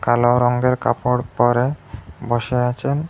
কালো রঙ্গের কাপড় পরে বসে আছেন।